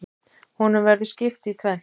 Honum verður skipt í tvennt.